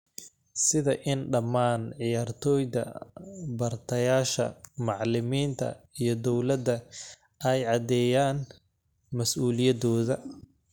Sida in dhammaan ciyaartoyda bartayaasha, macallimiinta, iyo dawladda ay caddeeyaan mas'uuliyadooda.